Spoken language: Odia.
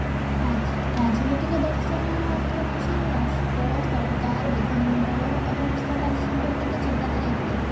ରାଜ ରାଜନୈତିକ ଦର୍ଶନ ଅର୍ଥ ହୋଉଚି ରାଷ୍ଟ୍ର ସରକାର ବିଧାନମଣ୍ଡଳ ଏବଂ ସମାଜ ସମ୍ପର୍କିତ ଚିନ୍ତାଧାରା ଇତ୍ୟାଦି